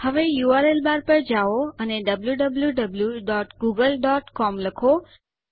હવે URL bar પર જાઓ અને wwwgooglecom લખો